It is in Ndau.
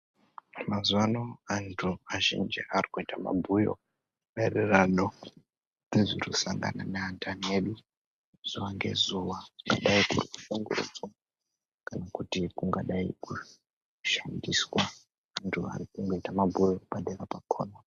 Mazuwa ano anthu azhinji ari kuita mabhuyo, maererano ne zviri kusangana neanthani edu zuwa ngezuwa, kungadai kuri kushungurudzwa, kungadai kuri kushandiswa, anthu ari kungoita mabhuyo, padera pakhona.